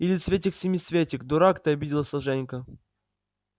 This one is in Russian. или цветик-семицветик дурак ты обиделся женька